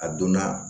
A donna